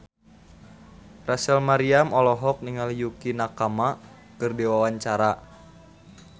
Rachel Maryam olohok ningali Yukie Nakama keur diwawancara